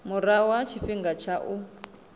murahu ha tshifhinga tsha u